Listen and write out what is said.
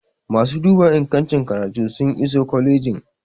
masu duba ingancin karatu sun iso kwalijin